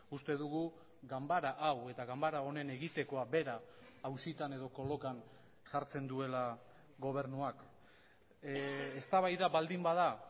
uste dugu ganbara hau eta ganbara honen egitekoa bera auzitan edo kolokan jartzen duela gobernuak eztabaida baldin bada